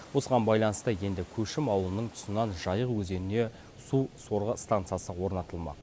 осыған байланысты енді көшім ауылының тұсынан жайық өзеніне сусорғы стансасы орнатылмақ